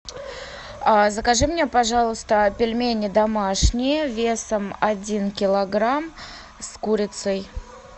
закажи мне пожалуйста пельмени домашние весом один килограмм с курицей